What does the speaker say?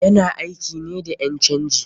Yana aiki ne da ƴan canji.